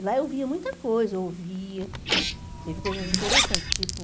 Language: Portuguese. E lá eu via muita coisa, eu ouvia, teve coisas interessantes, tipo...